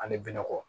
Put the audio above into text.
Ani benɔgɔ